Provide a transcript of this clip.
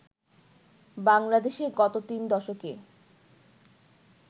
বাংলাদেশে গত তিন দশকে